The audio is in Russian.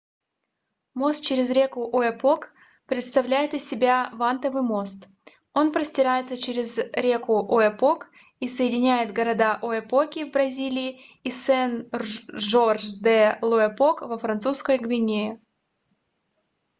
мост через реку ояпок представляет из себя вантовый мост он простирается через реку ояпок и соединяет города ояпоки в бразилии и сен-жорж-де-л'ояпок во французской гвиане